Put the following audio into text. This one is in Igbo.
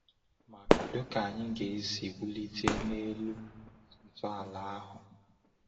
Ma kedu ka anyị ga-esi wulite n’elu ntọala ahụ?